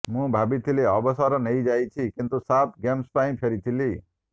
ମୁଁ ଭାବିଥିଲି ଅସବର ନେଇଯାଇଛି କିନ୍ତୁ ସାଫ୍ ଗେମ୍ସ ପାଇଁ ଫେରିଥିଲି